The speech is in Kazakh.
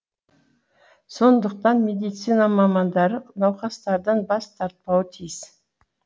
сондықтан медицина мамандары науқастардан бас тартпауы тиіс